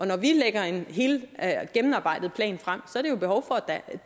når vi lægger en gennemarbejdet plan frem